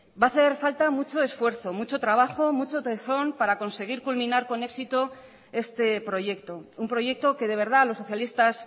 va a hacer falta mucho esfuerzo mucho trabajo mucho tesón para conseguir culminar con éxito este proyecto un proyecto que de verdad los socialistas